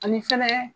Ani fɛnɛ